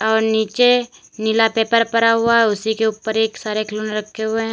और नीचे नीला पेपर पड़ा हुआ है उसी के ऊपर ढेर सारे खिलौने रखे हुए हैं।